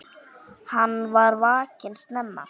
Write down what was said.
Hann var vakinn snemma.